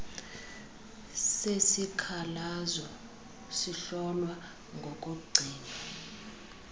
sesikhalazo sihlolwa ngokugcinwa